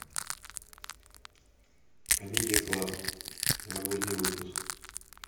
камеди клаб новогодний выпуск